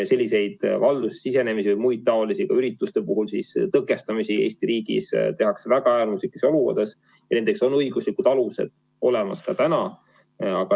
Selliseid valdusesse sisenemisi ja muud taolist, ka ürituste puhul tõkestamist Eesti riigis tehakse väga äärmuslikes olukordades ja nendeks on õiguslikud alused olemas ka täna.